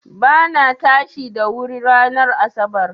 Ba na tashi da wuri ranar asarar